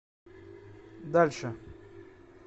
дальше